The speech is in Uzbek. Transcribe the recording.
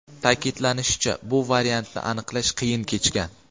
Ta’kidlanishicha, bu variantni aniqlash qiyin kechgan.